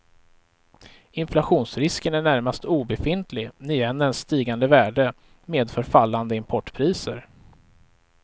Inflationsrisken är närmast obefintlig, när yenens stigande värde medför fallande importpriser.